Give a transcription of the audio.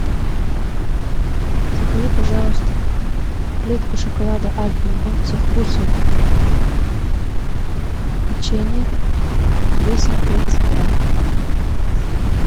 закажи пожалуйста плитку шоколада альпен гольд со вкусом печенье весом тридцать грамм